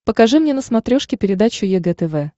покажи мне на смотрешке передачу егэ тв